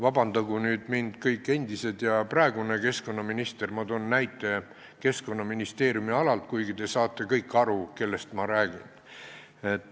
Vabandagu nüüd kõik endised keskkonnaministrid ja praegune keskkonnaminister, ma toon näite Keskkonnaministeeriumi alalt, kuigi te saate kõik aru, kellest ma räägin.